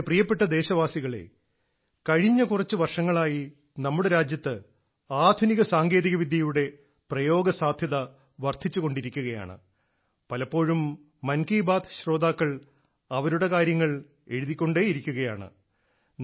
എന്റെ പ്രിയപ്പെട്ട ദേശവാസികളേ കഴിഞ്ഞ കുറച്ച് വർഷങ്ങളായി നമ്മുടെ രാജ്യത്ത് ആധുനിക സാങ്കേതികവിദ്യയുടെ പ്രയോഗസാധ്യത വർദ്ധിച്ചുകൊണ്ടിരിക്കുകയാണ് പലപ്പോഴും മൻ കി ബാത്ത് ശ്രോതാക്കൾ അവരുടെ കാര്യങ്ങൾ എഴുതിക്കൊണ്ടേയിരിക്കുകയാണ്